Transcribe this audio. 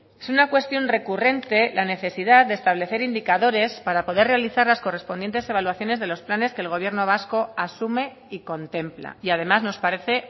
es una cuestión recurrente la necesidad de establecer indicadores para poder realizar las correspondientes evaluaciones de los planes que el gobierno vasco asume y contempla y además nos parece